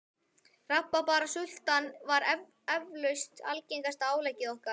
Rabarbarasulta var eflaust algengasta áleggið okkar.